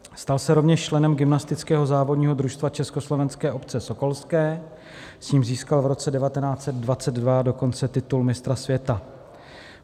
Stal se rovněž členem gymnastického závodního družstva Československé obce sokolské, s ním získal v roce 1922 dokonce titul mistra světa.